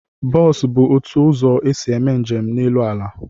Bos bụ otu ụzọ esi eme njem n'elu ala